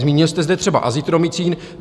Zmínil jste zde třeba azitromycin.